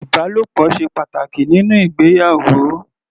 Ìbálòpọ̀ ṣe pàtàkì nínú ìgbéyàwó.